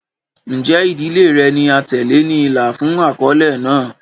Njẹ idile rẹ ni atẹle ni ila fun akọle naa?